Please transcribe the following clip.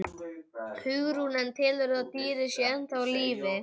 Hugrún: En telurðu að dýrið sé ennþá á lífi?